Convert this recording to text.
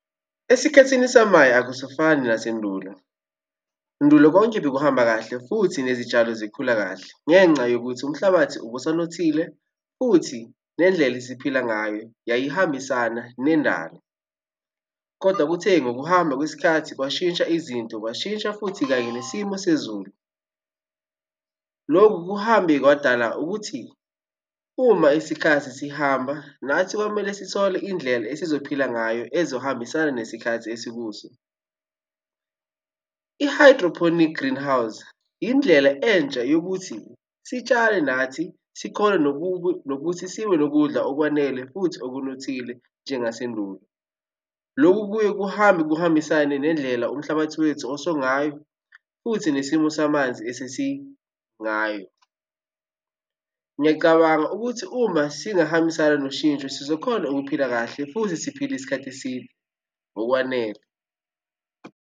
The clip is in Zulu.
Esikhathini samanje akusafani nasendulo. Endulo konke bekuhamba kahle futhi nezitshalo zikhula kahle ngenxa yokuthi umhlabathi ubusanothile, futhi nendlela eziphila ngayo yayihambisana nendalo, koda kuthe ngokuhamba kwesikhathi kwashintsha izinto, kwashintsha futhi kanye nesimo sezulu. Lokhu kuhambe kwadala ukuthi uma isikhathi sihamba nathi kwamele sithole indlela esizophila ngayo ezohambisana nesikhath esikuso. I-hydroponic greenhouse indlela entsha yokuthi sitshale nathi, sikhone nokuthi sibe nokudla okwanele futhi okunothile njengasendulo. Lokhu kuye kuhambe kuhambisane nendlela umhlabathi wethu osungayo futhi nesimo samanzi esesingayo. Ngiyacabanga ukuthi uma singahambisani noshintsho sizokhona ukuphila kahle futhi siphile isikhathi eside ngokwanele.